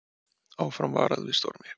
Áfram varað við stormi